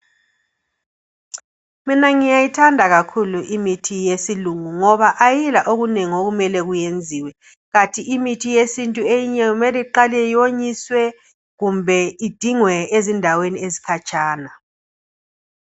Mina ngiyayithanda kakhulu imithi yesilungu ngoba ayila okunengi okumele kuyenziwe kanti imithi yesintu eyinye kumele iqale iyonyiswe kumbe idingwe ezindaweni ezikhatshana.